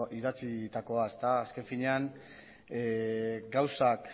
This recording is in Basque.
idatzitakoa ere azken finean gauzak